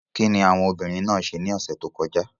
Kíni àwọn obìnrin náà ṣe ní ọ̀sẹ̀ tó kọjá?